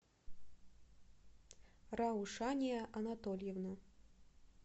раушания анатольевна